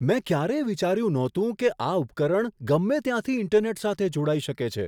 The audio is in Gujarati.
મેં ક્યારેય વિચાર્યું નહોતું કે આ ઉપકરણ ગમે ત્યાંથી ઈન્ટરનેટ સાથે જોડાઈ શકે છે.